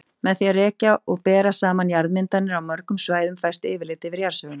Með því að rekja og bera saman jarðmyndanir á mörgum svæðum fæst yfirlit yfir jarðsöguna.